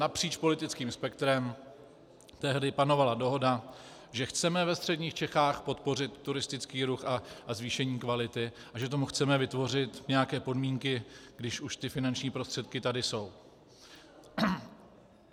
Napříč politickým spektrem tehdy panovala dohoda, že chceme ve středních Čechách podpořit turistický ruch a zvýšení kvality a že tomu chceme vytvořit nějaké podmínky, když už ty finanční prostředky tady jsou.